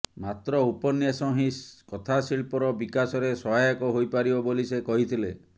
ମାତ୍ର ଉପନ୍ୟାସ ହିଁ କଥାଶିଳ୍ପର ବିକାଶରେ ସହାୟକ ହୋଇପାରିବ ବୋଲି ସେ କହିଥିଲେ